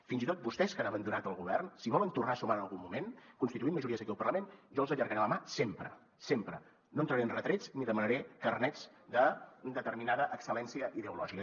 fins i tot vostès que han abandonat el govern si volen tornar a sumar en algun moment constituint majories aquí al parlament i jo els allargaré la mà sempre sempre no entraré en retrets ni demanaré carnets de determinada excel·lència ideològica